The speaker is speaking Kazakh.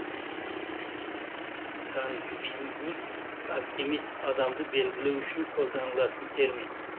сангвиник оптимист адамды белгілеу үшін қолданылатын термин